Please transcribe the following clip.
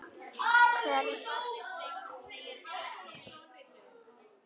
Þú getur aldrei sungið framar